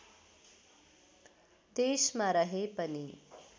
देशमा रहे पनि